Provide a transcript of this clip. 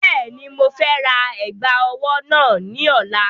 Bẹ́ẹ̀ni, mo fẹ́ ra ẹ̀gbà ọwọ́ náà ní ọ̀la.